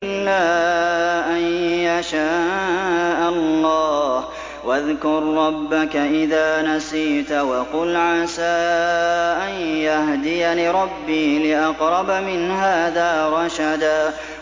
إِلَّا أَن يَشَاءَ اللَّهُ ۚ وَاذْكُر رَّبَّكَ إِذَا نَسِيتَ وَقُلْ عَسَىٰ أَن يَهْدِيَنِ رَبِّي لِأَقْرَبَ مِنْ هَٰذَا رَشَدًا